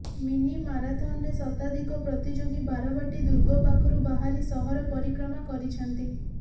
mini ମାରାଥନରେ ଶତାଧିକ ପ୍ରତିଯୋଗୀ ବାରବାଟୀ ଦୁର୍ଗ ପାଖରୁ ବାହାରି ସହର ପରିକ୍ରମା କରିଛନ୍ତି